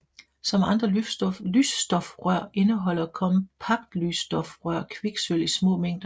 Som andre lysstofrør indeholder kompaktlysstofrør kviksølv i små mængder